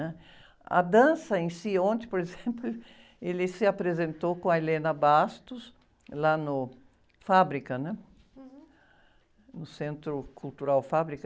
né? A dança em si, ontem, por exemplo, ele se apresentou com a lá no Fábrica, né? No Centro Cultural Fábrica.